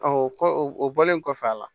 o kɔ o bɔlen kɔfɛ a la